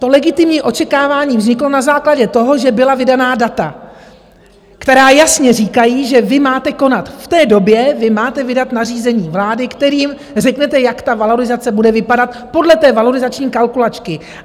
To legitimní očekávání vzniklo na základě toho, že byla vydaná data, která jasně říkají, že vy máte konat, v té době vy máte vydat nařízení vlády, kterým řeknete, jak ta valorizace bude vypadat podle té valorizační kalkulačky.